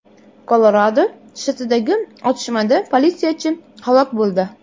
Kolorado shtatidagi otishmada politsiyachi halok bo‘ldi.